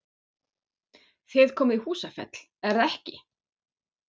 Þið komið í Húsafell, er það ekki?